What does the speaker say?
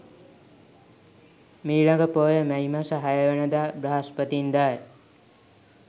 මීළඟ පෝය මැයි මස 06 වන දා බ්‍රහස්පතින්දා ය.